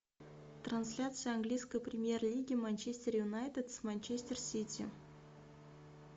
трансляция английской премьер лиги манчестер юнайтед с манчестер сити